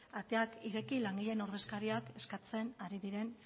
ateak ireki langileen ordezkariak eskatzen ari diren